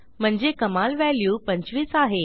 म्हणजे कमाल व्हॅल्यू 25 आहे